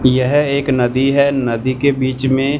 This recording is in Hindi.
यह एक नदी है नदी के बीच में--